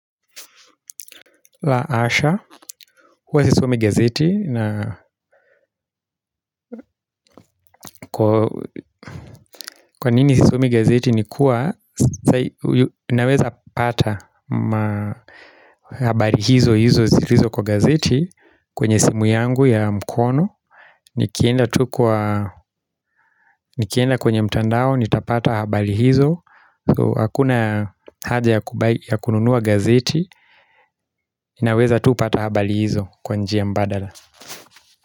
La hasha, kwa nini sisomi gazeti ni kuwa, inaweza pata habari hizo hizo zilizo kwa gazeti kwenye simu yangu ya mkono, nikienda kwenye mtandao, nitapata habari hizo, so hakuna haja ya kununua gazeti, inaweza tu pata habari hizo kwanjia mbadala.